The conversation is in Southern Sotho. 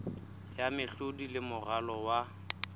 ya mehlodi le moralo wa